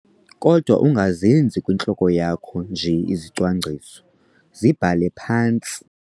Kodwa, ungazenzi kwintloko yakho nje izicwangciso, zibhale phantsi.